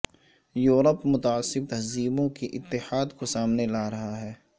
Europe متعصب تہذیبوں کے اتحاد کو سامنے لا رہا ہے